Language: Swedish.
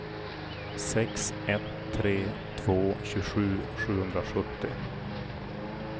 sex ett tre två tjugosju sjuhundrasjuttio